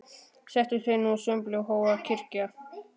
Settust þeir nú að sumbli og hófu að kyrja